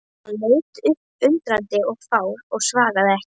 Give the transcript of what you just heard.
Hann leit upp undrandi og fár og svaraði ekki.